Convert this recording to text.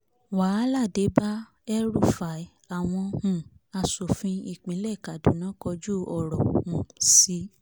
wàhálà dé bá el-rufai àwọn um asòfin ìpínlẹ̀ kaduna kọjú ọ̀rọ̀ um síi